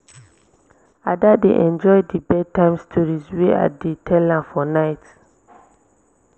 ada dey enjoy the bed time stories wey i dey tell am for night